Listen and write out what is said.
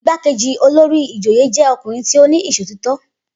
Igbákejì olórí ìjòyè jẹ́ ọkùnrin tí ó ní ìṣòtítọ́.